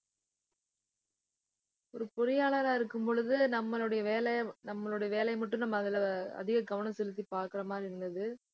ஒரு பொறியாளரா இருக்கும் பொழுது, நம்மளுடைய வேலை நம்மளுடைய வேலையை மட்டும் நம்ம அதுல அதிக கவனம் செலுத்தி பாக்குற மாதிரி இருந்தது